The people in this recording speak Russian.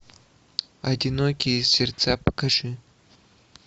одинокие сердца покажи